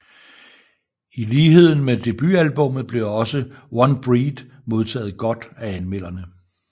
I lighed med debutalbummet blev også One Breath modtaget godt af anmelderne